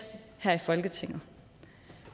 her i folketinget